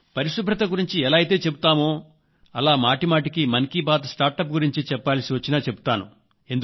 పరిశుభ్రత గురించి ఎలా అయితే చెబుతానో అలా మాటిమాటికీ మన్ కీ బాత్ లో స్టార్టప్ గురించి చెప్పాల్సి వచ్చినా చెబుతాను